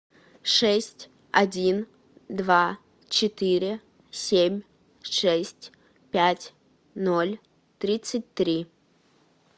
шесть один два четыре семь шесть пять ноль тридцать три